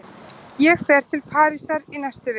Ég fer til Parísar í næstu viku.